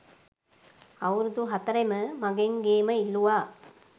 අවුරුදු හතරෙම මගෙන් ගේම ඉල්ලුවා